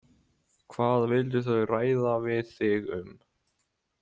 Hvað vildu þau ræða við þig um?